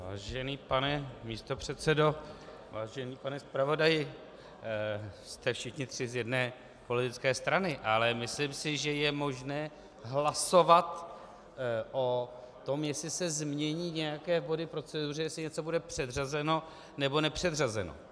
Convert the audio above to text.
Vážený pane místopředsedo, vážený pane zpravodaji, jste všichni tři z jedné politické strany, ale myslím si, že je možné hlasovat o tom, jestli se změní nějaké body v proceduře, jestli něco bude předřazeno, nebo nepředřazeno.